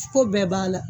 Ko bɛɛ b'a la